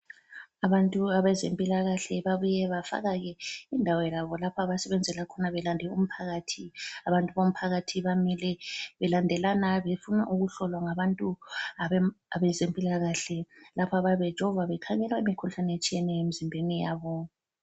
Abantu abezempilakahle babuye bafaka indawo yabo lapho abasebenzela khona belande umphakathi. Abantu bomphakathi bamile belandelana befuna ukuhlolwa ngabantu abezempilakahle, lapho abayabevejova bekhangela imikhuhlane etshiyeneyo emzimbeni yabo.